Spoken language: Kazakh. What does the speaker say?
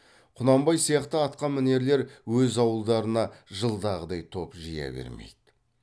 құнанбай сияқты атқамінерлер өз ауылдарына жылдағыдай топ жия бермейді